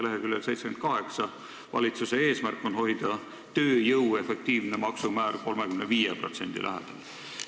Leheküljel 78 on kirjas valitsuse eesmärk hoida tööjõu efektiivne maksumäär 35% lähedal.